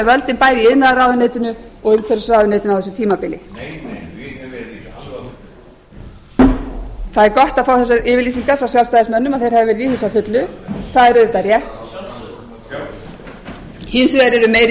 völdin bæði í iðnaðarráðuneytinu og umhverfisráðuneytinu á þessu tímabili nei nei við höfum verið í það er gott að fá þessar yfirlýsingar frá sjálfstæðismönnum að þeir hafi verið í þessu að fullu það er auðvitað rétt hins vegar